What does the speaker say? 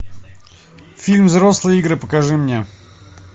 фильм взрослые игры покажи мне